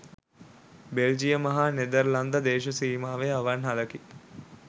බෙල්ජියම හා නෙදර්ලන්ත දේශසීමාවේ අවන් හලකි.